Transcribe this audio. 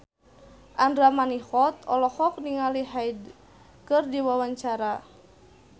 Andra Manihot olohok ningali Hyde keur diwawancara